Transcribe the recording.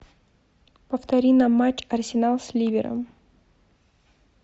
повтори нам матч арсенал с ливером